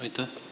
Aitäh!